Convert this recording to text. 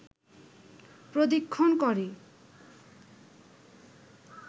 প্রদক্ষিণ করে